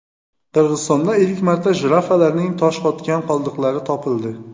Qirg‘izistonda ilk marta jirafalarning toshqotgan qoldiqlari topildi.